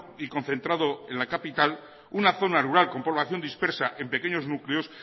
y concentrado en la capital una zona rural con población dispersa en pequeños núcleos